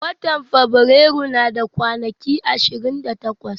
watan fabirairu yana da kwanaki 28.